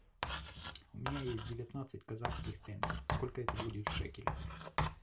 у меня есть девятнадцать казахских тенге сколько это будет в шекелях